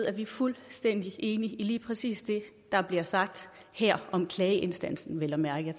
at vi er fuldstændig enige i lige præcis det der bliver sagt her om klageinstansen vel at mærke